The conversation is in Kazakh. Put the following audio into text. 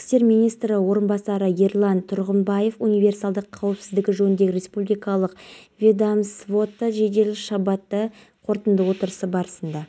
көлемінде айыппұл толтырылады осы территорияны жинап бұл кісілерден гарантиялық хат алып өзіміз қадағалаймыз егер тазаланбаған болса